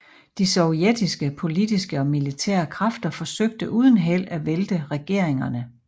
De sovjetiske politiske og militære kræfter forsøgte uden held at vælte regeringerne